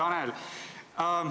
Hea Tanel!